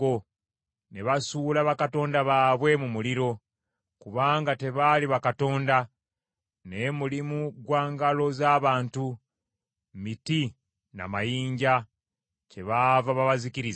ne basuula bakatonda baabwe mu muliro: kubanga tebaali bakatonda, naye mulimu gwa ngalo z’abantu, miti na mayinja; kyebaava babazikiriza.